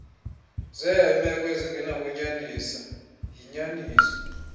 zeemeko ezingenakuba yinyaniso